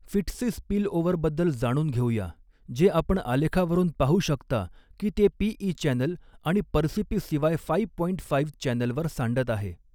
फिटसी spillover बद्दल जाणून घेऊया जे आपण आलेखावरुन पाहू शकता की ते पीइ चॅनल आणि PerCP Cy five point five चॅनेलवर सांडत आहे.